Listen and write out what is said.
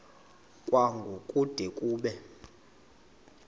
kwango kude kube